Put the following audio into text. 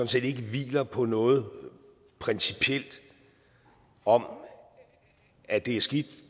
set ikke hviler på noget principielt om at det er skidt